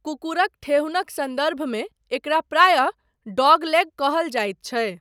कुकुरक ठेहुनक सन्दर्भमे एकरा प्रायः 'डॉगलेग' कहल जाइत छै।